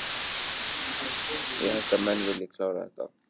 Ég held að menn vilji klára þetta með stæl.